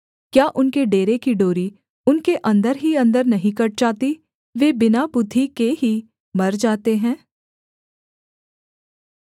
क्या उनके डेरे की डोरी उनके अन्दर ही अन्दर नहीं कट जाती वे बिना बुद्धि के ही मर जाते हैं